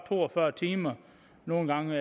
to og fyrre timer nogle gange